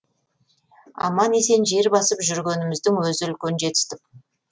аман есен жер басып жүргеніміздің өзі үлкен жетістік